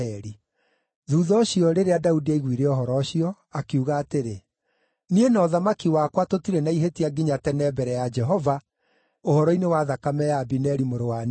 Thuutha ũcio, rĩrĩa Daudi aiguire ũhoro ũcio, akiuga atĩrĩ, “Niĩ na ũthamaki wakwa tũtirĩ na ihĩtia nginya tene mbere ya Jehova ũhoro-inĩ wa thakame ya Abineri mũrũ wa Neri.